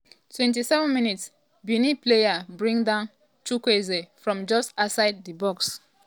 27 mins - benin player bring down chukwueze from just outside di box.